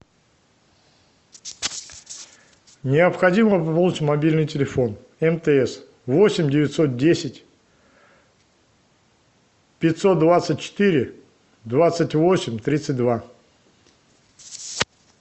необходимо пополнить мобильный телефон мтс восемь девятьсот десять пятьсот двадцать четыре двадцать восемь тридцать два